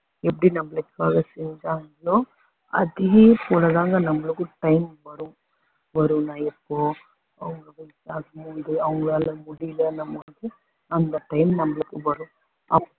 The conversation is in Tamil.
எப்படி நம்மளுக்காக செஞ்சாங்களோ அதேபோல தாங்க நம்மளுக்கும் time வரும் வருன்னா எப்போ அவங்களுக்கு வயசாகும் போது அவங்களால முடிலங்கும்போது அந்த time நம்ளுக்கு வரும் அப்~